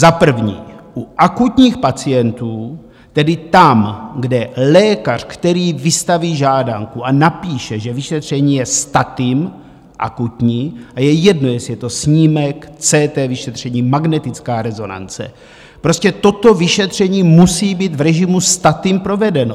Za prvé, u akutních pacientů, tedy tam, kde lékař, který vystaví žádanku a napíše, že vyšetření je statim - akutní, a je jedno, jestli je to snímek, CT vyšetření, magnetická rezonance, prostě toto vyšetření musí být v režimu statim provedeno.